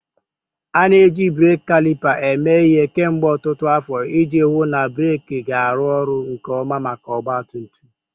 A na-eji breeki kalipa eme ihe kemgbe ọtụtụ afọ iji hụ na breeki ga-arụ ọrụ nke ọma maka ọgba tum tum.